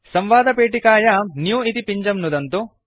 संवादपेटिकायां न्यू इति पिञ्जं नुदन्तु